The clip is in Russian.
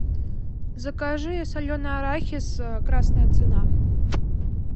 закажи соленый арахис красная цена